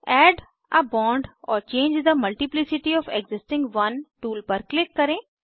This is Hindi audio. add a bond or change the multiplicity of the existing one tool पर क्लिक करें